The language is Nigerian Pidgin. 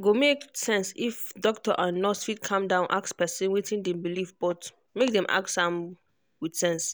go make sense if doctor and nurse fit calm down ask person wetin dem believe but make dem ask am with sense.